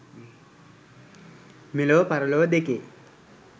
මෙලොව පරලොව දෙකේ